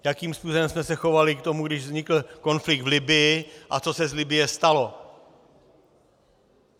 Jakým způsobem jsme se chovali k tomu, když vznikl konflikt v Libyi a co se z Libye stalo?